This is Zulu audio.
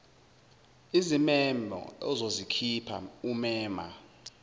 izimemo ozozikhipha umema